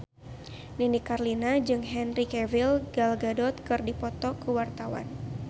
Nini Carlina jeung Henry Cavill Gal Gadot keur dipoto ku wartawan